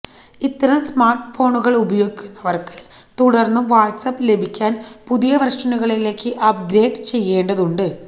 ഇത്തരം സ്മാര്ട്ട്ഫോണുകള് ഉപയോഗിക്കുന്നവര്ക്ക് തുടര്ന്നും വാട്സ്ആപ് ലഭിക്കാന് പുതിയ വേര്ഷനുകളിലേക്ക് അപ്ഗ്രേഡ് ചെയ്യേണ്ടതുണ്ട്